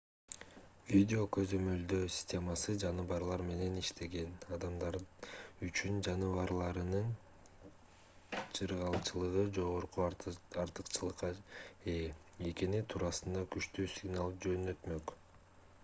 видео көзөмөлдөө системасы жаныбарлар менен иштеген адамдар үчүн жаныбарларынын жыргалчылыгы жогорку артыкчылыкка ээ экени туурасында күчтүү сигнал жөнөтмөк